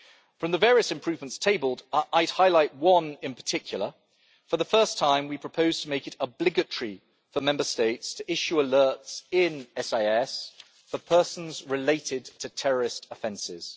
From the various improvements tabled I would highlight one in particular for the first time, we propose to make it obligatory for Member States to issue alerts in SIS for persons related to terrorist offences.